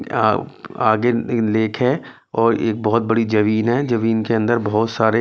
अ आगे एक लेक है और एक बहुत बड़ी जमीन है जमीन के अंदर बहुत सारे--